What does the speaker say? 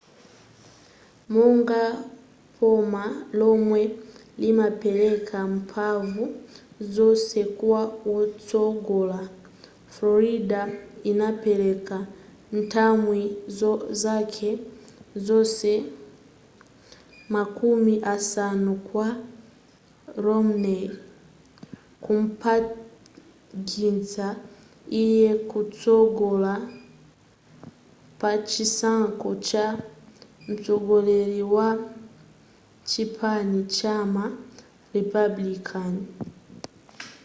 monga boma lomwe limapeleka mphanvu zonse kwa wotsogola florida inapeleka nthumwi zake zonse makumi asanu kwa romney kumpangitsa iye kutsogola pachisankho cha mtsogoleri wa chipani chama republican